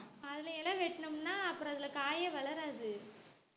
அதுல இலை வெட்டினோம்ன்னா அப்புறம் அதுல காயே வளராது